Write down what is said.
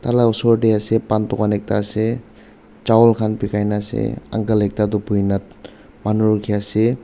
tala osor tae ase pan dukan ekta ase chawal khan bikai na ase uncle ekta tu boina manu rukhiase.